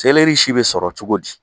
si bɛ sɔrɔ cogo di?